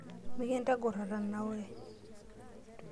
Mikintagor atanaure.